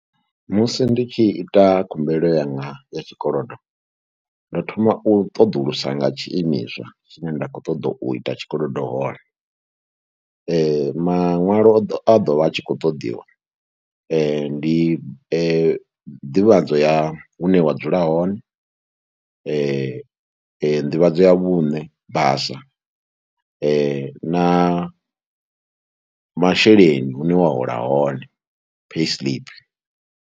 Musi ndi tshi ita khumbelo yanga ya tshikolodo ndo thoma u ṱoḓulusa nga tshiimiswa tshine nda khou ṱoḓa u ita tshikolodo hone. Maṅwalo a ḓo vha a tshi khou ṱoḓiwa ndi nḓivhadzo ya hune wa dzula hone, nḓivhadzo ya vhuṋe basa, na masheleni hune wa hola hone, payslip.